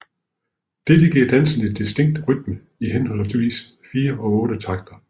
Dette giver dansen en distinkt rytme i henholdsvis 4 og otte takter